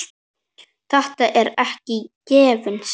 Þetta er ekki gefins.